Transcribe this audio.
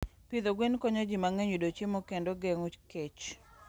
pidho gwen konyo ji mang'eny yudo chiemo kendo geng'o kech..